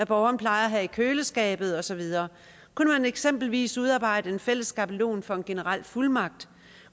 borgeren plejer at have i køleskabet og så videre kunne man eksempelvis udarbejde en fælles skabelon for en generel fuldmagt